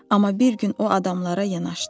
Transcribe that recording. Amma bir gün o adamlara yanaşdı.